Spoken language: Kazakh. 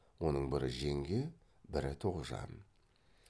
оның бірі жеңге бірі тоғжан